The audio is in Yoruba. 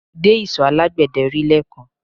Mo dé isọ̀ alágbẹ̀dẹ́ rí lẹ́ẹ̀kan